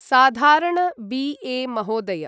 साधारण B A महोदय